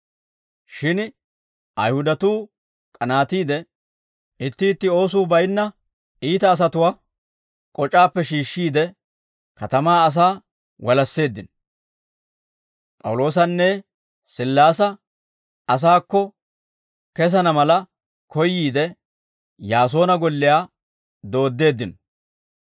Shin Ayihudatuu k'anaatiide, itti itti oosuu bayinna iita asatuwaa k'oc'aappe shiishshiide katamaa asaa walasseeddino; P'awuloosanne Sillaasa asaakko kessana mala koyyiide, Yaasoona golliyaa dooddeeddino.